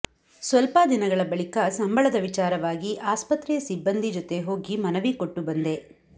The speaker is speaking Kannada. ಸ್ವಲ್ಪ ದಿನಗಳ ಬಳಿಕ ಸಂಬಳದ ವಿಚಾರವಾಗಿ ಆಸ್ಪತ್ರೆಯ ಸಿಬ್ಬಂದಿ ಜತೆ ಹೋಗಿ ಮನವಿ ಕೊಟ್ಟು ಬಂದೆ